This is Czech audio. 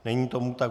Není tomu tak.